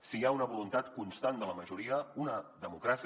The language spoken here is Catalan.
si hi ha una voluntat constant de la majoria una democràcia